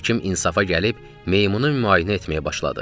Həkim insafa gəlib, meymunu müayinə etməyə başladı.